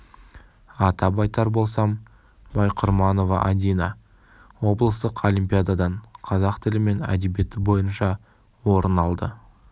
атап айтар болсам байқұрманова адина облыстық олимпиададан қазақ тілі мен әдебиеті бойынша орын алды